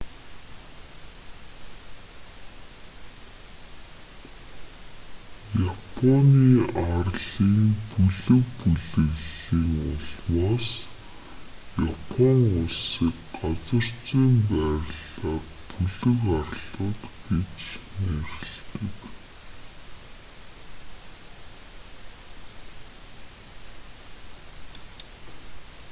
японы арлын бүлэг/бүлэглэлийн улмаас япон улсыг газар зүйн байрлалаар бүлэг арлууд гэж нэрлэдэг